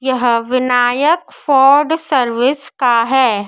यह Vinayak food service का है।